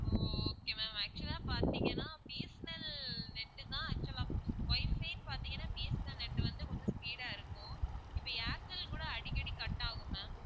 ஓ okay ma'am actual ஆ பார்தீங்கன்னா B. S. N. L net தான் actual ஆ WIFI பாத்தீங்கன்னா B. S. N. L net வந்து கொஞ்சம் speed ஆ இருக்கும் இப்போ ஏர்டெல் கூட அடிக்கடி cut ஆகும் ma'am